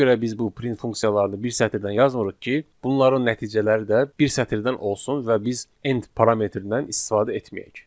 Nəyə görə biz bu print funksiyalarını bir sətirdən yazmırıq ki, bunların nəticələri də bir sətirdən olsun və biz end parametrindən istifadə etməyək?